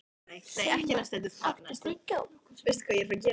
Sigmann, áttu tyggjó?